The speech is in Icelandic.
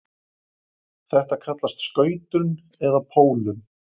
Þetta kallast skautun eða pólun.